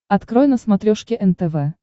открой на смотрешке нтв